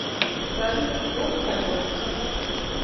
салют го бухать водку со мной